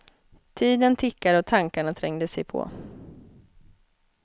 Tiden tickar och tankarna trängde sig på.